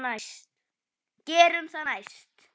Gerum það næst.